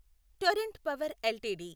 Torrent power LTD